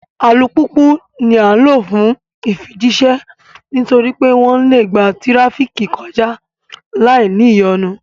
Alupupu ní a ǹ lo fún ifijiṣẹ nítorí pé wón le gbà tirafiki kọja láì ní ìyọnu